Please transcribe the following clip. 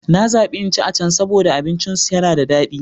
Na zabi in ci a can saboda abincinsu yana da dadi.